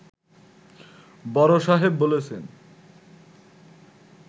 বড় সাহেব বলেছেন